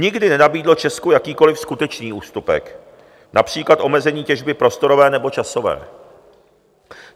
Nikdy nenabídlo Česku jakýkoli skutečný ústupek, například omezení těžby prostorové nebo časové.